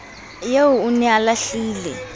eo o ne a lahlile